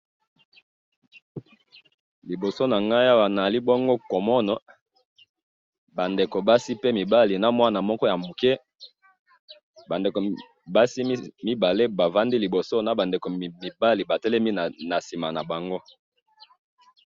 liboso na ngai awa nazali bongo komona, ba ndeko basi pe mibali na mwana moko ya mukie, ba ndeko basi mibale ba fandi liboso na ba ndeko mibali ba telemi na sima na bango